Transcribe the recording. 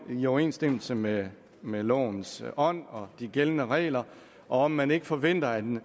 i overensstemmelse med med lovens ånd og de gældende regler og om man ikke forventer at